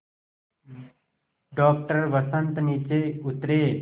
doctor Vasant नीचे उतरे